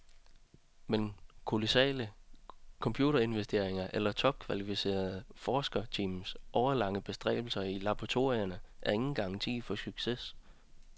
Men kolossale computerinvesteringer eller topkvalificerede forskerteams årelange bestræbelser i laboratorierne er ingen garanti for succes.